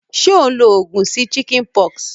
Sé o n lo ogùn sí chickenpox?